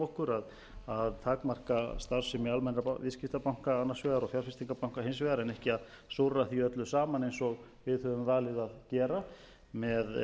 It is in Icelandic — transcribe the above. okkur að takmarka starfsemi almennra viðskiptabanka annars vegar og fjárfestingarbanka hins vegar en ekki að súrra því öllu saman eins og við höfum valið að gera með